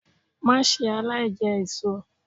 Má ṣe aláìjẹ èṣo!